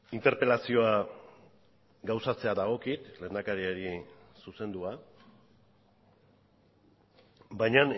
interpelazioa gauzatzea dagokit lehendakariari zuzendua baina